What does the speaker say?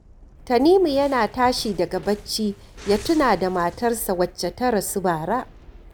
Tanimu yana tashi daga bacci ya tuna da matarsa wacce ta rasu bara